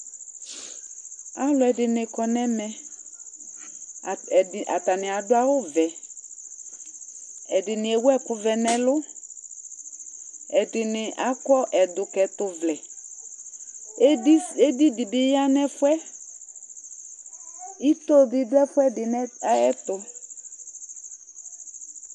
Alʋɛdɩnɩ kɔ nʋ ɛmɛ Ata ɛdɩ atanɩ adʋ awʋvɛ Ɛdɩnɩ ewu ɛkʋvɛ nʋ ɛlʋ Ɛdɩnɩ akɔ ɛdʋkɛtʋvlɛ Edis edi dɩ bɩ ya nʋ ɛfʋ yɛ Ito bɩ dʋ ɛfʋɛdɩ nʋ ɛ ayɛtʋ